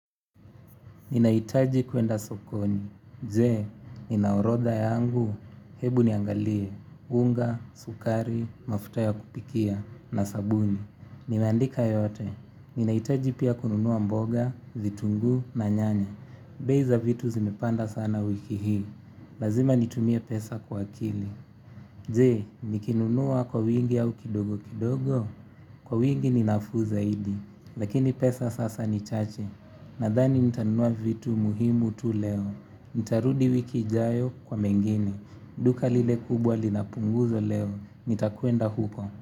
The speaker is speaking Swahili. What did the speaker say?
Ninaitaji kuenda sokoni, je, ninaorodha yangu, hebu niangalie, unga, sukari, mafuta ya kupikia, na sabuni. Nimeandika yote, ninajitaji pia kununua mboga, vitunguu, na nyanya. Bei za vitu zimepanda sana wiki hii, lazima nitumie pesa kwa akili. Je, nikinunua kwa uwingi au kidogo kidogo, kwa uwingi ninafuu zaidi, lakini pesa sasa ni chache. Nadhani nitanunua vitu muhimu tu leo. Nitarudi wiki ijayo kwa mengine. Duka lile kubwa linapunguzo leo. Nitakuenda huko.